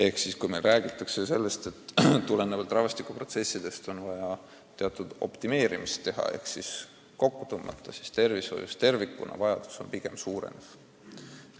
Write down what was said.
Kui üldiselt räägitakse, et tulenevalt rahvastikuprotsessidest on vaja teatud optimeerimist ehk kokku tõmmata, siis tervishoius tervikuna vajadused pigem kasvavad.